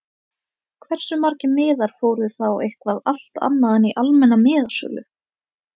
Hversu margir miðar fóru þá eitthvað allt annað en í almenna miðasölu???